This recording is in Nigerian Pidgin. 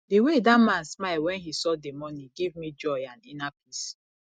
the way dat man smile wen he saw the money give me joy and inner peace